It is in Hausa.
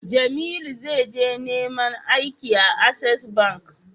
Jamilu za je neman aiki a access bank